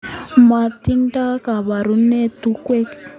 Matindoi kabarunet tungwek